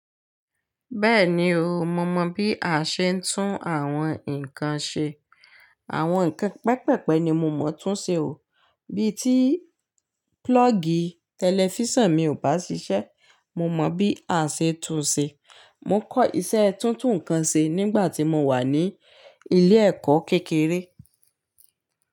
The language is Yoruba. Bẹ́ẹ̀ni o, mo mọ bí a ṣe ń tún àwọn nǹkan ṣe. Àwọn nǹkan pẹpẹpẹ ni mo mọ̀ tún ṣe o. Bí i tí púlọ́ọ̀gì tẹlifíṣàn mi ò bá ṣiṣẹ́, mo mọ bí a ṣe tún ṣe. Mo kọ́ iṣẹ́ tún tùn nǹkan ṣe nígbà tí mo wà ní ilé ẹ̀kọ́ kékeré.